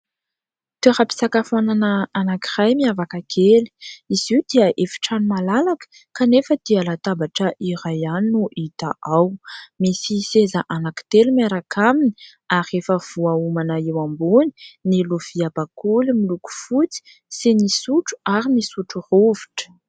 Toeram-pisakafoanana anankiray miavaka kely : izy io dia efitrano malalaka kanefa dia latabatra iray ihany no hita ao, misy seza anankitelo miaraka aminy ary efa voahomana eo ambony ny lovia bakoly miloko fotsy sy ny sotro ary ny sotrorovitra.